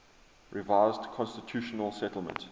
revised constitutional settlement